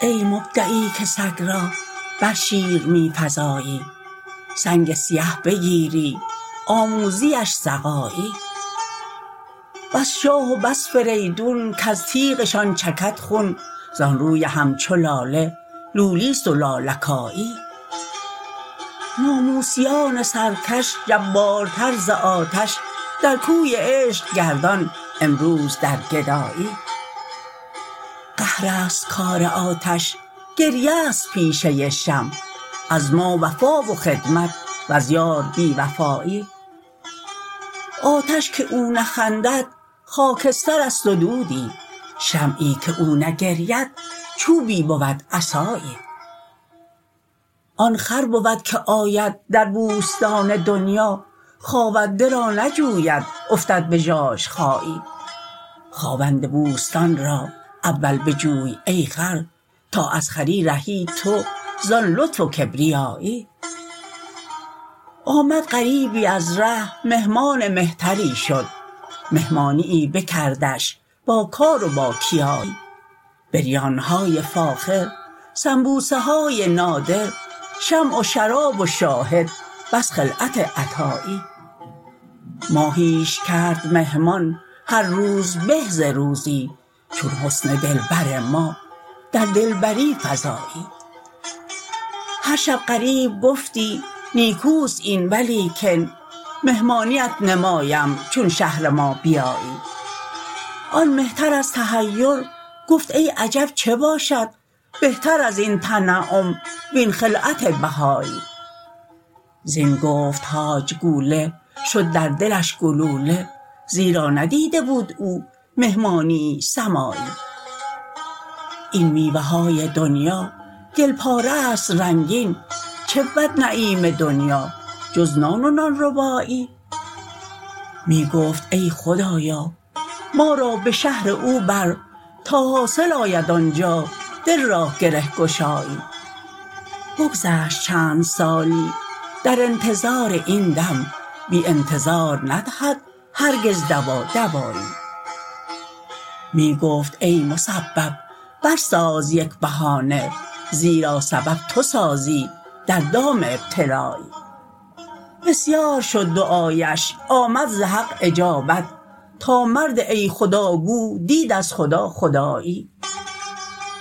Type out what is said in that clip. ای مبدعی که سگ را بر شیر می فزایی سنگ سیه بگیری آموزیش سقایی بس شاه و بس فریدون کز تیغشان چکد خون زان روی همچو لاله لولی است و لالکایی ناموسیان سرکش جبارتر ز آتش در کوی عشق گردان امروز در گدایی قهر است کار آتش گریه ست پیشه شمع از ما وفا و خدمت وز یار بی وفایی آتش که او نخندد خاکستر است و دودی شمعی که او نگرید چوبی بود عصایی آن خر بود که آید در بوستان دنیا خاونده را نجوید افتد به ژاژخایی خاوند بوستان را اول بجوی ای خر تا از خری رهی تو زان لطف و کبریایی آمد غریبی از ره مهمان مهتری شد مهمانیی بکردش باکار و باکیایی بریانه های فاخر سنبوسه های نادر شمع و شراب و شاهد بس خلعت عطایی ماهیش کرد مهمان هر روز به ز روزی چون حسن دلبر ما در دلبری فزایی هر شب غریب گفتی نیکو است این ولیکن مهمانیت نمایم چون شهر ما بیایی آن مهتر از تحیر گفت ای عجب چه باشد بهتر از این تنعم وین خلعت بهایی زین گفت حاج کوله شد در دلش گلوله زیرا ندیده بود او مهمانیی سمایی این میوه های دنیا گل پاره هاست رنگین چه بود نعیم دنیا جز نان و نان ربایی می گفت ای خدایا ما را به شهر او بر تا حاصل آید آن جا دل را گره گشایی بگذشت چند سالی در انتظار این دم بی انتظار ندهد هرگز دوا دوایی می گفت ای مسبب برساز یک بهانه زیرا سبب تو سازی در دام ابتلایی بسیار شد دعایش آمد ز حق اجابت تا مرد ای خدا گو دید از خدا خدایی